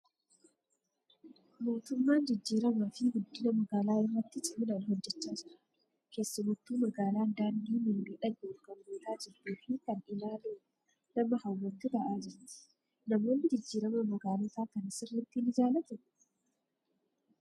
Mootummaan jijjiiramaa fi guddina magaalaa irratti ciminaan hojjechaa jira. Keessumattu magaalaan daandii mimmiidhagoon kan guutaa jirtuu fi kan ilaaluuf nama hawwattu ta'aa jirti. Namoonni jijjiirama magaalotaa kana sirriitti ni jaalatuu?